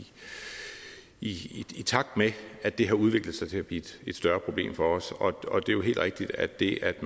i takt med at det har udviklet sig til at blive et større problem for os og det er jo helt rigtigt at det at